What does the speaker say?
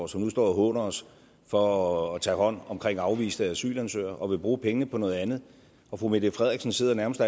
som nu står og håner os for at tage hånd om afviste asylansøgere og vil bruge pengene på noget andet og fru mette frederiksen sidder nærmest